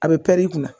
A bɛ pɛr'i kunna